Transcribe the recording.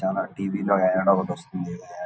చాలా టివి లో యాడ్ ఒక్కటి వస్థుంది యాడ్ .